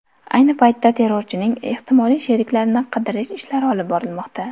Ayni paytda terrorchining ehtimoliy sheriklarini qidirish ishlari olib borilmoqda.